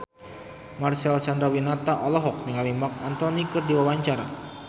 Marcel Chandrawinata olohok ningali Marc Anthony keur diwawancara